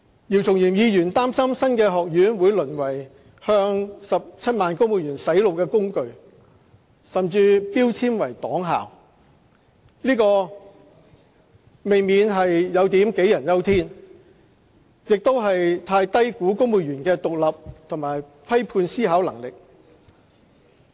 鄭松泰議員擔心新學院會淪為向17萬公務員"洗腦"的工具，甚至標籤為"黨校"，這未免有點杞人憂天，亦太低估公務員的獨立和批判思考能力。